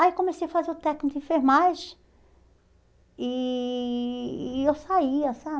Aí eu comecei a fazer o técnico de enfermagem e e eu saía,